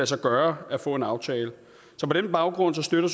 sig gøre at få en aftale så på den baggrund støtter